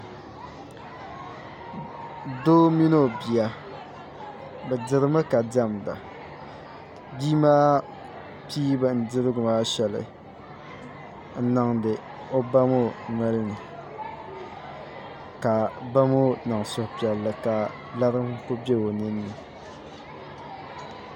Doo mini o bia bi dirimi ka diɛmda bia maa pii bindirigu maa shɛli n niŋdi o ba ŋo nolini ka ba ŋo niŋ suhupiɛlli ka lari n ku bɛ o ninni